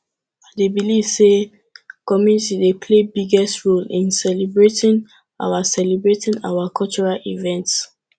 i dey believe say community dey play biggest role in celebrating our celebrating our cultural events